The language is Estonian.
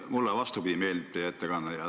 Mulle, vastupidi, meeldis teie ettekanne.